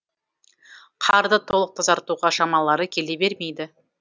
қарды толық тазартуға шамалары келе бермейді